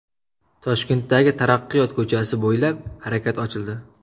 Toshkentdagi Taraqqiyot ko‘chasi bo‘ylab harakat ochildi.